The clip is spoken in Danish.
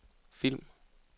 film